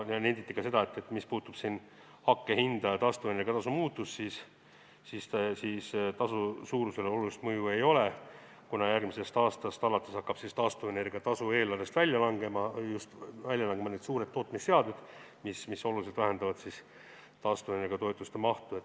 Nenditi ka seda, et mis puudutab hakkpuidu hinda ja taastuvenergia tasu muutust, siis tasu suurusele olulist mõju ei ole, kuna järgmisest aastast alates hakkavad taastuvenergia tasu eelarvest välja langema suured tootmisseadmed, mis oluliselt vähendavad taastuvenergia toetuste mahtu.